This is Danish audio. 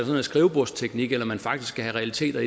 noget skrivebordsteknik eller om man faktisk skal have realiteter